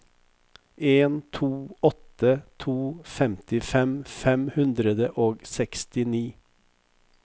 en to åtte to femtifem fem hundre og sekstini